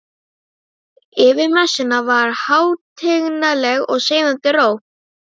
Yfir messunni var hátignarleg og seiðandi ró.